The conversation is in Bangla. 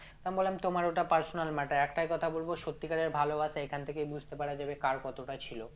তো আমি বললাম তোমার ওটা personal matter একটাই কথা বলবো সত্যিকারের ভালোবাসা এখান থেকেই বুঝতে পারা যাবে কার কতটা ছিল